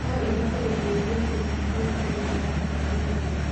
No ihote gũteithia kũnyihia ũritũ na kũagĩrithia